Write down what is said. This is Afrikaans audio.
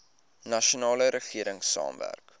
nasionale regering saamwerk